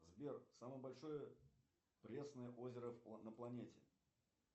сбер самое большое пресное озеро на планете